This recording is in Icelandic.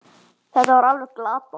Þetta var alveg glatað.